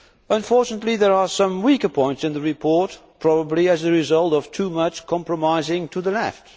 Unfortunately there are some weaker points in the report, probably as a result of too much compromising to the left.